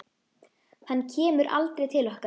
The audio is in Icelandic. Hann kemur aldrei til okkar.